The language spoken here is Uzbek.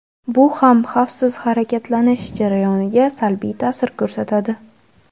Bu ham xavfsiz harakatlanish jarayoniga salbiy ta’sir ko‘rsatadi.